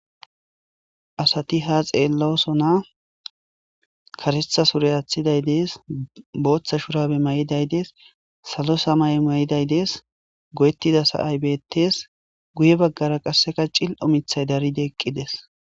Asati ha xeellooso na karethasure aaththiday dees booththa shurabe may7iday dees salo samay may7iday dees go7ettida sa7ay betees guye baggara qasseka cil omithay daride eqqides.